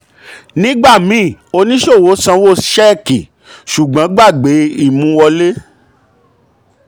nígbà míì oníṣòwò sanwó sanwó ṣẹ́ẹ̀kì ṣùgbọ́n gbàgbé ìmú wọlé.